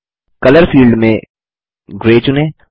colour field में grey चुनें